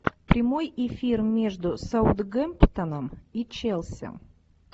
прямой эфир между саутгемптоном и челси